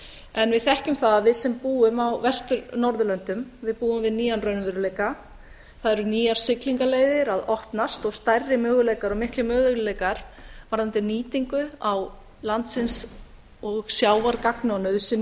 en við þekkjum það að við sem búum á vestur norðurlöndum við búum við nýjan raunveruleika það eru nýjar siglingaleiðir að opnast og stærri möguleikar og miklir möguleikar varðandi nýtingu á landsins og sjávar gagns og